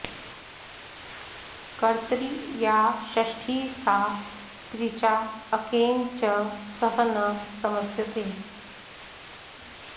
कर्तरि या षष्ठी सा तृचा अकेन च सह न समस्यते